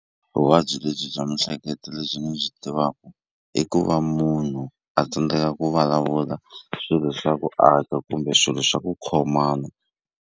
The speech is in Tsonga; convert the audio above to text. Vuvabyi lebyi bya mihleketo lebyi ni byi tivaka i ku va munhu a tsandzeka ku vulavula swilo swa ku aka kumbe swilo swa ku khomana.